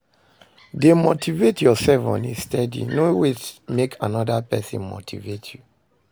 De motivate yourself on a steady no wait make another persin motivate you